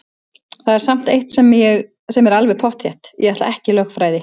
Það er samt eitt sem er alveg pottþétt: Ég ætla ekki í lögfræði!